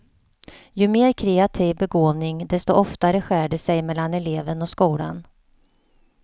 Ju mer kreativ begåvning, desto oftare skär det sig mellan eleven och skolan.